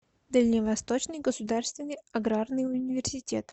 дальневосточный государственный аграрный университет